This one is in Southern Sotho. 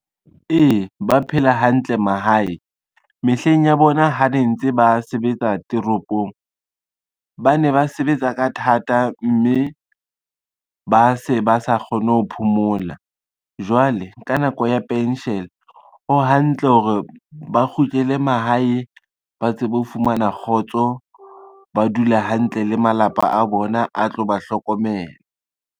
Ee, ba phela hantle mahae. Mehleng ya bona ha ne ntse ba sebetsa toropong, ba ne ba sebetsa ka thata, mme ba se ba sa kgone ho phomola. Jwale ka nako ya pension, ho hantle hore ba kgutlele mahae, ba tsebe ho fumana kgotso, ba dule hantle le malapa a bona a tlo ba hlokomela.